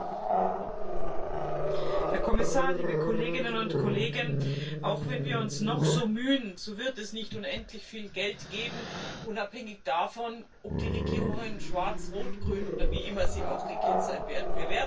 Herr Präsident, Herr Kommissar, liebe Kolleginnen und Kollegen! Auch wenn wir uns noch so mühen, so wird es nicht unendlich viel Geld geben, unabhängig davon, ob die Regierungen schwarz, rot, grün oder wie immer sie auch aussehen werden.